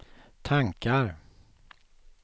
tankar